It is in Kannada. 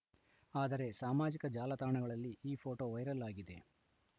ಆದರೆ ಸಾಮಾಜಿಕ ಜಾಲತಾಣಗಳಲ್ಲಿ ಈ ಫೋಟೋ ವೈರಲ್‌ ಆಗಿದೆ